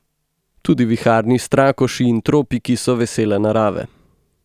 Tudi viharni strakoši in tropiki so vesele narave.